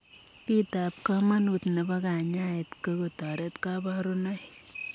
Kiit ap kamanut nepoo kanyaet ko kotoret kaparunoik.